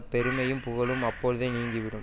பெருமையும் புகழும் அப்பொழுதே நீங்கிவிடும்